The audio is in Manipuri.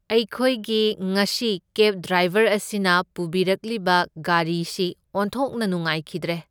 ꯑꯩꯈꯣꯢꯒꯤ ꯉꯁꯤ ꯀꯦꯕ ꯗ꯭ꯔꯥꯏꯕꯔ ꯑꯁꯤꯅ ꯄꯨꯕꯤꯔꯛꯂꯤꯕ ꯒꯥꯔꯤꯁꯤ ꯑꯣꯟꯊꯣꯛꯅ ꯅꯨꯉꯥꯏꯈꯤꯗ꯭ꯔꯦ꯫